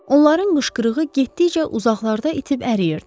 Onların qışqırığı getdikcə uzaqlarda itib əriyirdi.